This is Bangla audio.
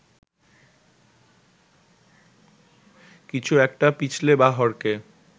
কিছু একটা পিছলে বা হড়কে